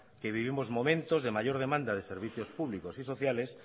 que vivimos momentos de mayor demanda de servicios públicos y sociales